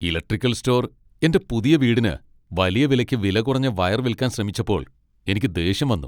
Electrical store എന്റെ പുതിയ വീടിന് വലിയ വിലയ്ക്ക് വിലകുറഞ്ഞ വയർ വിൽക്കാൻ ശ്രമിച്ചപ്പോൾ എനിക്ക് ദേഷ്യം വന്നു.